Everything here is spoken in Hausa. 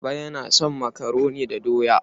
Baba yana son makaroni da doya.